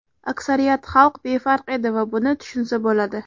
Aksariyat xalq befarq edi va buni tushunsa bo‘ladi.